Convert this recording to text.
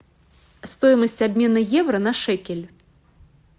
стоимость обмена евро на шекель